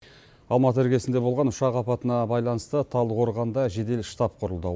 алматы іргесінде болған ұшақ апатына байланысты талдықорғанда жедел штаб құрылды